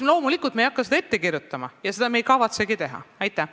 Loomulikult me ei hakka selle koha pealt midagi ette kirjutama, me ei kavatsegi seda teha.